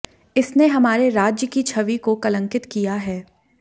इसने हमारे राज्य की छवि को कलंकित किया है